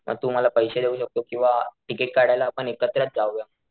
अन तू मला पैशे देऊ शकतो किंवा तिकीट काढायला आपण एकत्रच जावुया.